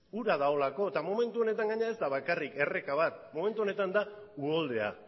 ura dagoelako eta momentu honetan gainera ez da bakarrik erreka bat momentu honetan da uholdea